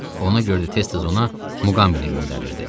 Ona görə də tez-tez ona Muqambini göndərirdi.